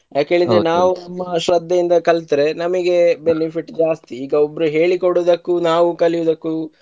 ಯಕ್ಹೇಳಿದ್ರೆ ನಾವು ತುಂಬ ಶ್ರಧ್ಧೆಯಿಂದ ಕಲಿತ್ರೆ ನಮಿಗೆ benefit ಜಾಸ್ತಿ ಈಗ ಒಬ್ರು ಹೇಳಿಕೊಡದಕ್ಕು ನಾವು ಕಲಿಯೊದಕ್ಕು